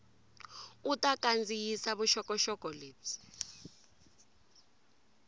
u ta kandziyisa vuxokoxoko lebyi